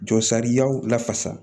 Jɔ sariyaw lafasa